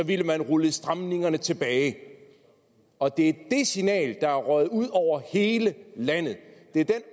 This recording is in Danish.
ville man rulle stramningerne tilbage og det er det signal der er røget ud over hele landet det er den